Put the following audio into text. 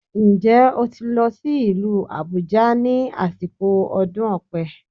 Ǹjẹ́ o ti lọ sí ìlú Àbújá ní àsìkò ọdún Ọ̀pẹ